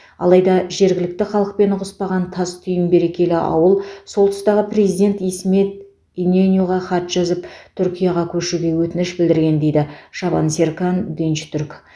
алайда жергілікті халықпен ұғыспаған тас түйін берекелі ауыл сол тұстағы президент исмет иненюға хат жазып түркияға көшуге өтініш білдірген дейді шабан серкан динчтүрк